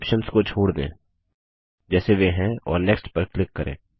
सभी ऑप्शन्स को छोड़ दें जैसे वे हैं और नेक्स्ट पर क्लिक करें